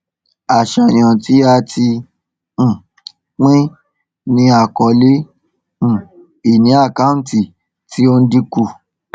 àṣàyàn tí a um pín ní àkọọle um ìní àkántì tí ó ń dínkù